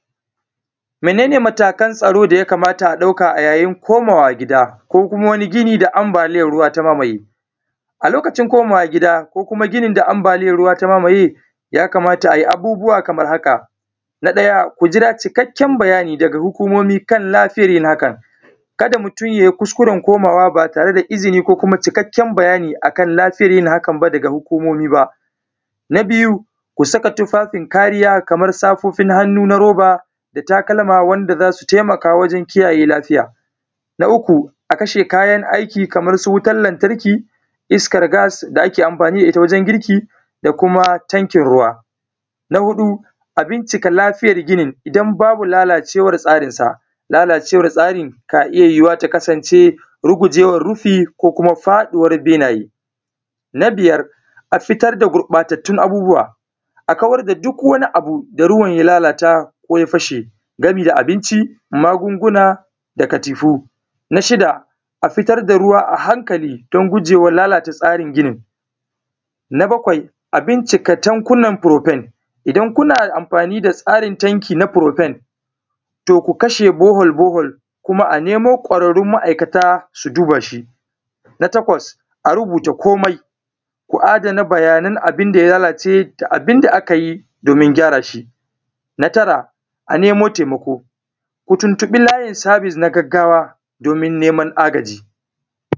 Mene ne matakan tsaro da ya kamata a ɗauka yayin komawa gida ko kuma wani gini da anbaliyan ruwa ya mamaye. A lokacin komawa gida ko gini da anbaliyan ruwa ya mamaye, ya kamata a yi abubuwa kaman haka: Na ɗaya: Ku jira cikakken bayani da hukumomin lafiya dangane da hakan. Ka da mutum ya yi kuskuren komawa ba tare da izini ko cikakken bayani akan lafiya daga hukumomi ba. Na biyu: Ku saka tufafin kariya da safofin hannu na roba, da takalma wanda za su taimaka wajen kiyaye lafiya. Na uku A kashe kayan aiki kaman su wutan lantarki, iskar gas da ake amfani da ita wajen girki, da kuma tankin ruwa. Na huɗu: A bincika lafiyar ginin. In babu lalacewar tsarinsa, lalacewar tsari na iya yuyuwa ya kasance rugujewar rufi ko faɗuwar benaye. Na biyar: A fitar da gurɓatattun abubuwa, a kawar da duk wani abu da ruwa ya lalata ko ya fashe kaman abinci, magunguna, da katifu. Na shida: A fitar da ruwa a hankali, don gujewar lalatar tsari. Na bakwai: A bincika tankunan buɗe, idan kuna amfani da tsarin tankuna na furufen, to ko kashe bohol bohol a nemu ƙwararrun ma’aikata su duba shi. Na takwas: Rubuta kumai, ku adana bayanan abunda ya lalace da abunda aka yi don gyara shi. Na tara: A nemo taimako, ko tuntuɓi layin sabis na gaggawa don neman agaji.